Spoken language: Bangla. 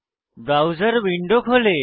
ব্রাউজার উইন্ডো খোলে